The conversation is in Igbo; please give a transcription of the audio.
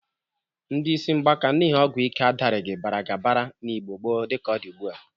Ndị isi ngbaka n'ihi ọgwụ ike adarighị baradabara n'Igbo gboo dịka ọ dị ugbụ a.